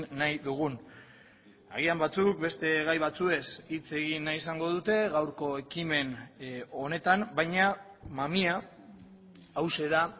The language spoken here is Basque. nahi dugun agian batzuk beste gai batzuez hitz egin nahi izango dute gaurko ekimen honetan baina mamia hauxe da